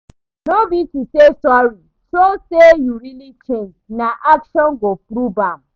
No be to say sorry, show say you really change, na action go prove am.